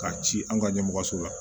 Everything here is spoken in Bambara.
K'a ci an ka ɲɛmɔgɔso la